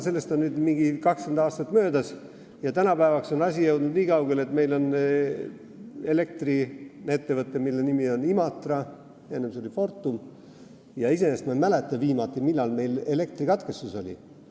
Sellest on nüüd umbes 20 aastat möödas ja nüüdseks on asi jõudnud nii kaugele, et meil on elektriettevõte, mille nimi on Imatra – enne oli Fortum –, ja ma ei mäleta, millal meil viimati elektrikatkestus oli.